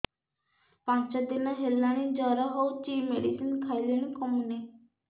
ପାଞ୍ଚ ଦିନ ହେଲାଣି ଜର ହଉଚି ମେଡିସିନ ଖାଇଲିଣି କମୁନି